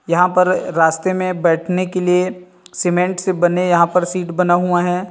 यहां पर रास्ते में बैठने के लिए सीमेंट से बने यहां पर सीट बना हुआ है।